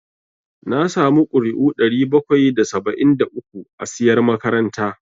Na samu ƙuri'u ɗari bakwai da saba'in da uku a siyar makaranta